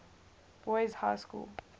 boys high school